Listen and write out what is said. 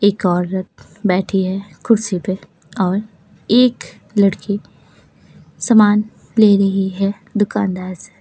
एक औरत बैठी है कुर्सी पे और एक लड़की सामान ले रही है दुकानदार से--